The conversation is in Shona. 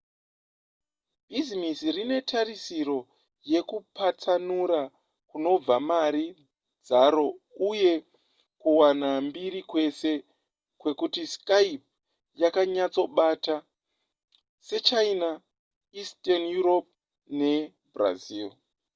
bhizimisi rine tarisiro yekupatsanura kunobva mari dzaro uye kuwana mbiri kwese kwekuti skype yakanyatsobata sechina eastern europe nebrazil